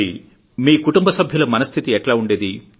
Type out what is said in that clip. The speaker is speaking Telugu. మీకుటుంబ సభ్యుల మనస్థితి ఎట్లా ఉండేది